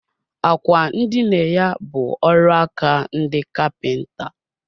Àkwà ndina ya bu ọrụaka ndị kapinta